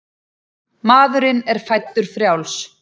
Maðurinn er fæddur frjáls.